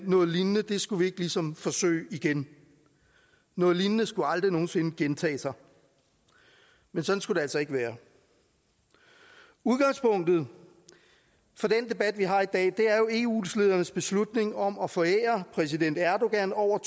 noget lignende skulle vi ligesom ikke forsøge igen noget lignende skulle aldrig nogen sinde gentage sig men sådan skulle det altså ikke være udgangspunktet for den debat vi har i dag er jo eu ledernes beslutning om at forære præsident erdogan over